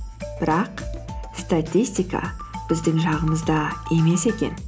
бірақ статистика біздің жағымызда емес екен